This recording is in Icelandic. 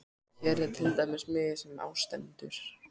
Hér er til dæmis miði sem á stendur